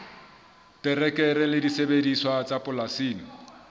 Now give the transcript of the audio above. terekere le disebediswa tsa polasing